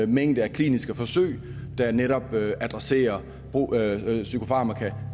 mængde kliniske forsøg der netop adresserer psykofarmaka